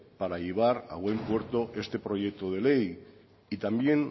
para llevar a buen puerto este proyecto de ley y también